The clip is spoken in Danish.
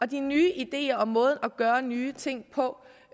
de nye ideer og måder at gøre nye ting på